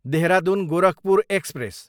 Dehradun, Gorakhpur express